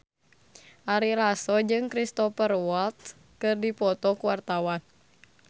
Ari Lasso jeung Cristhoper Waltz keur dipoto ku wartawan